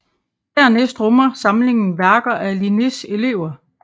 Dernæst rummer samlingen værker af Linnés elever